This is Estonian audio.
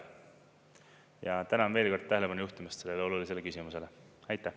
Ja tänan veel kord tähelepanu juhtimast sellele olulisele küsimusele!